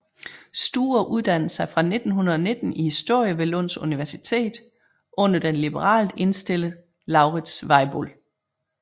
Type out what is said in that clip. Sture uddannede sig fra 1919 i historie ved Lunds universitet under den liberalt indstillede Lauritz Weibull